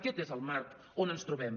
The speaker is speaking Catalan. aquest és el marc on ens trobem